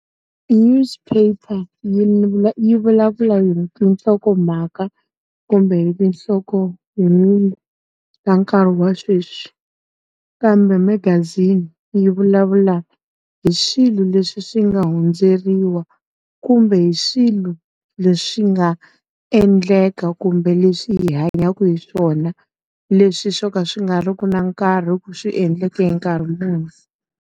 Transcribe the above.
Newspaper yi yi vulavula hi tihlokomhaka kumbe hi tinhlokohungu ta nkarhi wa sweswi. Kambe magazini yi vulavulaka hi swilo leswi swi nga hundzeriwa, kumbe hi swilo leswi nga endleka kumbe leswi hi hanyaka hi swona. Leswi swo ka swi nga ri ki na nkarhi ku swi endleke nkarhi muni.